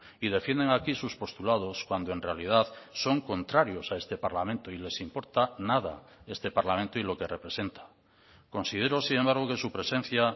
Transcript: y defienden aquí sus postulados cuando en realidad son contrarios a este parlamento y les importa nada este parlamento y lo que representa considero sin embargo que su presencia